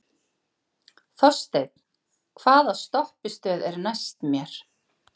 Þorsteinn, hvaða stoppistöð er næst mér?